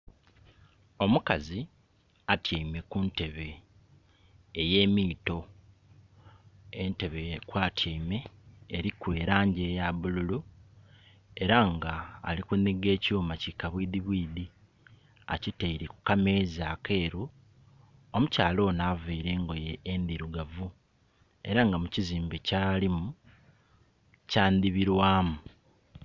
Omukazi atyeime ku ntebe ey'emiito, entebe kwatyeime eliku elangi eya bululu era nga ali kunhiga ekyuma ki kabwidhibwidhi akiteire ku kameza akeru. Omukyala ono aveire engoye endhirugavu era nga mu kizimbe kyalimu kya ndhibilwamu.